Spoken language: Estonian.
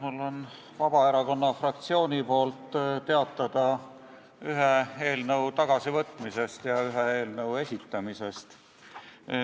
Mul on Vabaerakonna fraktsiooni nimel teatada ühe eelnõu tagasivõtmisest ja ühe eelnõu esitamisest.